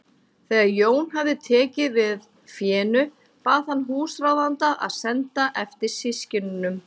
Þegar Jón hafði tekið við fénu bað hann húsráðanda að senda eftir systkinunum.